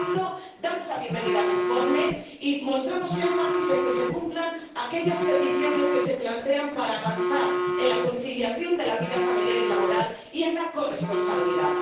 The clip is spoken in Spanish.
Por lo tanto, damos la bienvenida al informe y mostramos énfasis en que se cumplan aquellas peticiones que se plantean para avanzar en la conciliación de la vida familiar y laboral y en la corresponsabilidad.